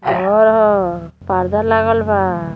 घर ह। पर्दा लागल बा।